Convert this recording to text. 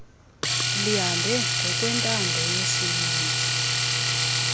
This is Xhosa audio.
lihambe ngokwentando yesininzi